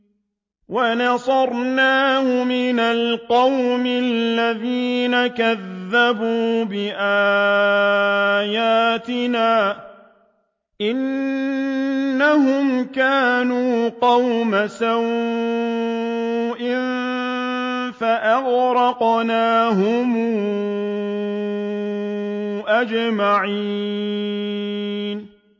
وَنَصَرْنَاهُ مِنَ الْقَوْمِ الَّذِينَ كَذَّبُوا بِآيَاتِنَا ۚ إِنَّهُمْ كَانُوا قَوْمَ سَوْءٍ فَأَغْرَقْنَاهُمْ أَجْمَعِينَ